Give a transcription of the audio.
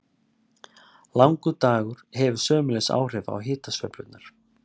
Langur dagur hefur sömuleiðis áhrif á hitasveiflurnar.